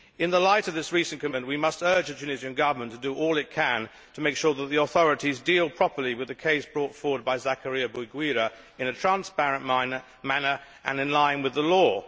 In the light of this recent commitment we must urge the Tunisian Government to do all it can to make sure that the authorities deal properly with the case brought forward by Zakaria Bouguira in a transparent manner and in line with the law.